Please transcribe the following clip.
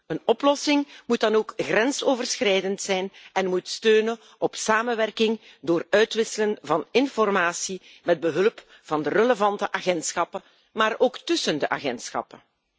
Een oplossing moet dan ook grensoverschrijdend zijn en moet steunen op samenwerking door het uitwisselen van informatie, met behulp van de relevante agentschappen, maar ook tússen de agentschappen.